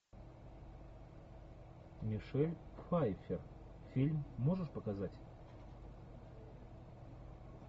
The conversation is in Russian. мишель пфайффер фильм можешь показать